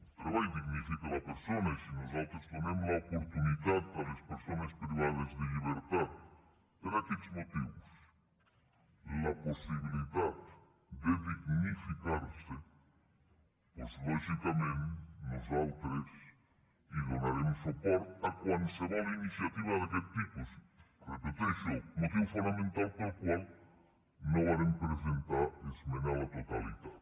el treball dignifica la persona i si nosaltres donem l’oportunitat a les persones privades de llibertat per aquests motius la possibilitat de dignificarse doncs lògicament nosaltres donarem suport a qualsevol iniciativa d’aquest tipus ho repeteixo motiu fonamental pel qual no vàrem presentar esmena a la totalitat